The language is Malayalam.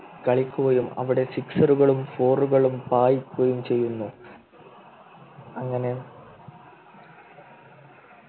കളിക്കുകയും അവിടെ Sixer കളും Four കളും പായിക്കുകയും ചെയ്യുന്നു അങ്ങനെ